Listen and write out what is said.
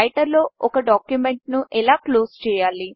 రైటర్లో ఒక డాక్యుమెంట్ను ఎలా క్లోజ్ చేయాలి